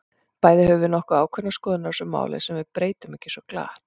Bæði höfum við nokkuð ákveðnar skoðanir á þessu máli, sem við breytum ekki svo glatt.